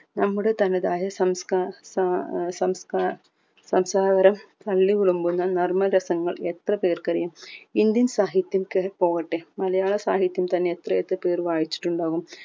നമ്മുടെ തനതായ സംസ്കാ താ ഏർ സംസ്‌ക സംസാരവരം തള്ളി കുളമ്പുന്ന നർമ്മ രസങ്ങൾ എത്ര പേർക്കറിയും indian സാഹിത്യംക്കെ പോകട്ടെ മലയാളം സാഹിത്യം തന്നെ എത്ര എത്ര പേർ വായിച്ചിട്ടുണ്ടാവും